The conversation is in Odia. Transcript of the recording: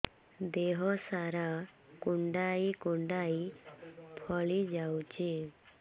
ଦେହ ସାରା କୁଣ୍ଡାଇ କୁଣ୍ଡାଇ ଫଳି ଯାଉଛି